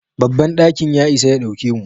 Babban ɗakin ya isa ya dauke mu.